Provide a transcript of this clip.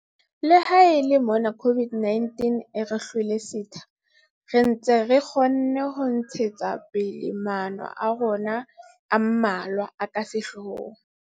Le ha e le mona COVID-19 e re hlwele setha, re ntse re kgonne ho ntshetsa pele maano a rona a mmalwa a ka sehloohong.